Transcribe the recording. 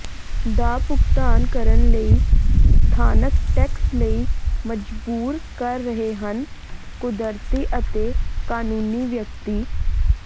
ਦਾ ਭੁਗਤਾਨ ਕਰਨ ਲਈ ਸਥਾਨਕ ਟੈਕਸ ਲਈ ਮਜਬੂਰ ਕਰ ਰਹੇ ਹਨ ਕੁਦਰਤੀ ਅਤੇ ਕਾਨੂੰਨੀ ਵਿਅਕਤੀ